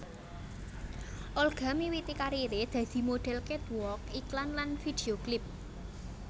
Olga miwiti kariré dadi modhél catwalk iklan lan video klip